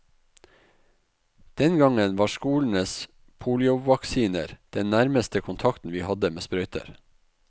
Den gangen var skolens poliovaksiner den nærmeste kontakten vi hadde med sprøyter.